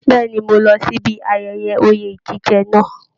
Bẹ̀ẹ́ni, mo lọ síbi ayẹyẹ oye jíjẹ náà.